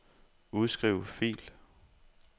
Udskriv fil.